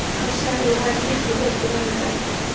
Hann sagði að ég væri miklu betri vinur en